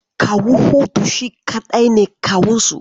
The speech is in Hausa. Kawu Hudu shi kaɗai ne kawunsu.